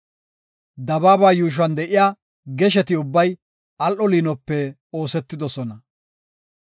Dabaaba yuushuwan de7iya gesheti ubbay al7o liinope oosetidosona.